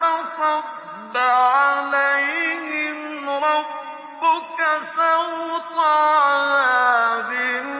فَصَبَّ عَلَيْهِمْ رَبُّكَ سَوْطَ عَذَابٍ